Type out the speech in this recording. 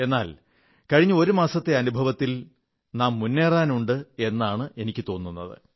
എങ്കിലും കഴിഞ്ഞ ഒരു മാസത്തെ അനുഭവത്തിൽ നാം മുന്നേറാനുണ്ട് എന്നാണ് എനിക്കു തോന്നുന്നത്